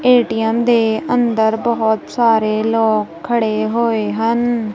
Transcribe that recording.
ATM ਦੇ ਅੰਦਰ ਬਹੁਤ ਸਾਰੇ ਲੋਕ ਖੜੇ ਹੋਏ ਹਨ।